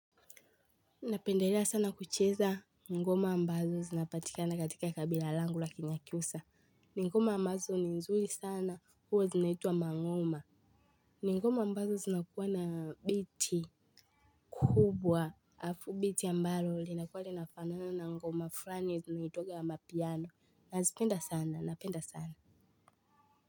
Napenderea sana kucheza ngoma ambazo zinapatika na katika kabila langu lakini akiusa. Ni ngoma ambazo ni nzuri sana huwa zinaitwa mang'oma. Ni ngoma ambazo zinakuwa na biti kubwa. Biti ambayo linakuwa linafanana ngoma frani zinaitwaga amapiano. Nazipenda sana napenda sana.